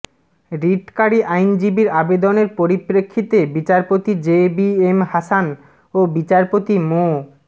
রিটকারী আইনজীবীর আবেদনের পরিপ্রেক্ষিতে বিচারপতি জে বি এম হাসান ও বিচারপতি মো